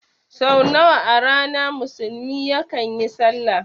Sau nawa a rana musulmi yakan yi sallah?